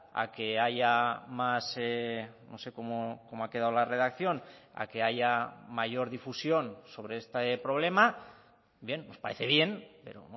a que haya más no sé cómo ha quedado la redacción a que haya mayor difusión sobre este problema bien nos parece bien pero